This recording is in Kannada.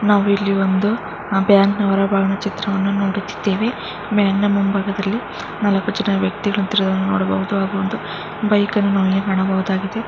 ನಾವಿಲ್ಲಿ ಒಂದು ಬ್ಯಾಂಕ್ನ ಹೊರಭಾಗದ ಚಿತ್ರವನ್ನು ನೋಡುತ್ತಿದ್ದೇವೆ. ಬ್ಯಾಂಕ್ನ ಮುಂಭಾಗದಲ್ಲಿ ಇಬ್ಬರು ವ್ಯಕ್ತಿ ನೋಡಬಹುದು.ಬೈಕ್ ಅನ್ನು ನೋಡಬಹುದಾಗಿದೆ.